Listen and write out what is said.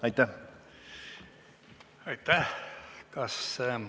Aitäh!